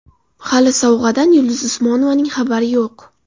Hali sovg‘adan Yulduz Usmonovaning xabari yo‘q.